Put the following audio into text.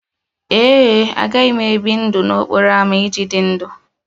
Ee e, agaghị m ebi ndụ n'okporo ámá iji dị ndụ